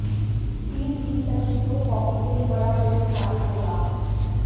team जीत सकी तो हॉकी के लिए बड़ा बोनस साबित होगा